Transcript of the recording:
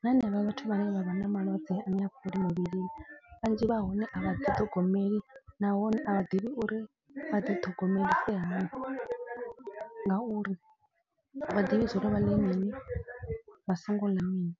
na hanevha vhathu vhane vha vha na malwadze ane ha fholi mivhilini. Vhanzhi vha hone a vha ḓi ṱhogomeli nahone a vha ḓivhi uri vha ḓi ṱhogomelise hani. Ngauri a vha ḓivhi zwiḽiwa vha ḽe mini vha songo ḽa mini.